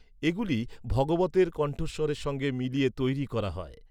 এগুলি ভগবতের কণ্ঠস্বরের সঙ্গে মিলিয়ে তৈরি করা হয়।